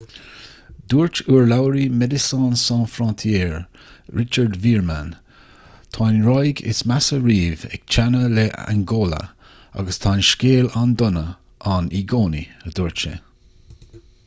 dúirt urlabhraí medecines sans frontiere richard veerman tá an ráig is measa riamh ag teannadh le hangóla agus tá an scéal an-dona ann i gcónaí a dúirt sé